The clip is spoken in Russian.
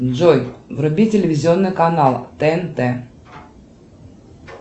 джой вруби телевизионный канал тнт